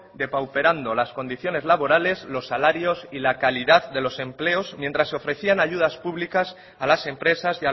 depauperando las condiciones laborales los salarios y la calidad de los empleos mientras ofrecían ayudas públicas a las empresas